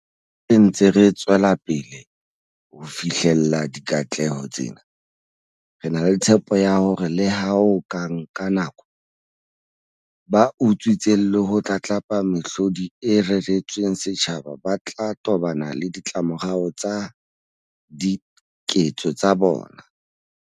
Ha re ntse re tswelapele ho fihlella dikatleho tsena, re na le tshepo ya hore leha ho ka nka nako, ba utswitseng le ho tlatlapa mehlodi e reretsweng setjhaba ba tla tobana le ditlamorao tsa diketso tsa bona.